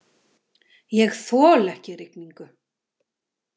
Ég þoli ekki rigningu.